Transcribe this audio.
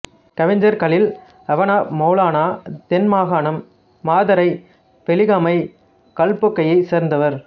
கவிஞர் கலீல் அவ்ன் மெளலானா தென் மாகாணம் மாத்தறை வெலிகமை கல்பொக்கையைச் சேர்ந்தவர்